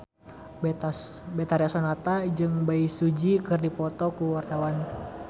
Betharia Sonata jeung Bae Su Ji keur dipoto ku wartawan